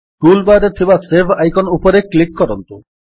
tool bar ରେ ଥିବା save icon ଉପରେ କ୍ଲିକ୍ କରନ୍ତୁ